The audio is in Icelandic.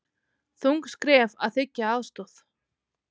Þung skref að þiggja aðstoð